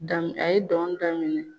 dami a ye dɔn daminɛ.